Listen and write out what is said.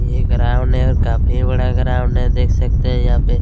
ये ग्राऊंड है और काफी बडा ग्राऊंड है देक सकते है यहाँ पे--